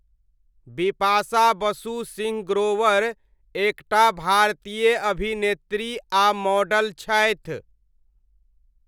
बिपाशा बसु सिंह ग्रोवर एक टा भारतीय अभिनेत्री आ मॉडल छथि।